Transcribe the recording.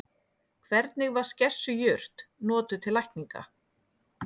Hvernig var skessujurt notuð til lækninga?